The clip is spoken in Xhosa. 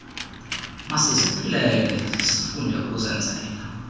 masiziphilele sifunde ukuzenzela